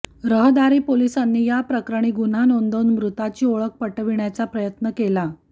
रहदारी पोलीसांनी याप्रकरणी गुन्हा नोंदवून मृताची ओळख पटविण्याचा प्रयत्न केला